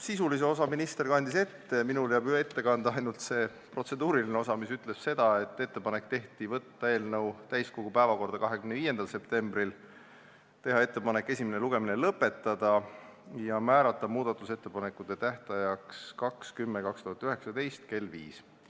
Sisulise osa kandis minister juba ette, minul jääb nimetada ainult protseduuriline osa, mis ütleb seda, et tehti ettepanek võtta eelnõu täiskogu päevakorda 25. septembriks, esimene lugemine lõpetada ja määrata muudatusettepanekute tähtajaks 2. oktoober 2019 kell 17.